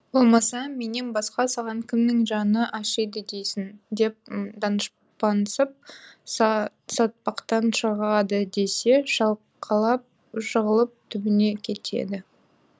болмаса менен басқа саған кімнің жаны ашиды дейсің деп данышпансып сатпақтан шығады десе шалқалап жығылып түбіне кетеді